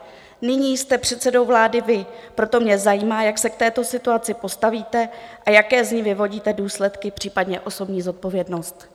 Nyní jste předsedou vlády vy, proto mě zajímá, jak se k této situaci postavíte a jaké z ní vyvodíte důsledky, případně osobní zodpovědnost.